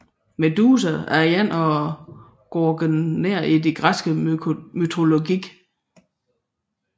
Medusa var en af gorgonerne i den græske mytologi